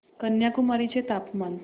कन्याकुमारी चे तापमान